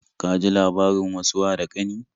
Ka ji labarin wasu wa da ƙani?